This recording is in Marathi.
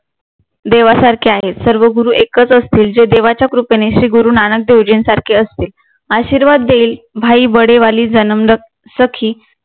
देवासारखे आहेत सर्व गुरु एकच असतील जे देवाच्या कृपेने श्री गुरु नानक गुरुजींसारखे असतील आशीर्वाद देईल सखी